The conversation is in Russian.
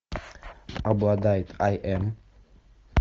обладает ай эм